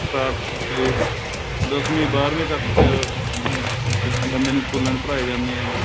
ਦੱਸਵੀ ਬਾਰਵੀ ਤੱਕ ਕਹਿੰਦੇ ਸਕੂਲਾਂ ਦੇ ਵਿੱਚ ਪੜਾਏ ਜਾਂਦੇ ਹੈ ਇਹ